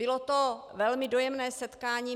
Bylo to velmi dojemné setkání.